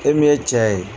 E min ye cɛ ye